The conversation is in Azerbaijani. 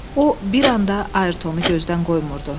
O bir anda Ayertonu gözdən qoymurdu.